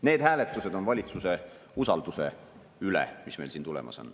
Need hääletused on valitsuse usalduse üle, mis meil siin tulemas on.